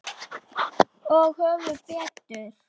Og höfðu betur.